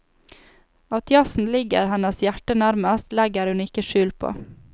At jazzen ligger hennes hjerte nærmest, legger hun ikke skjul på.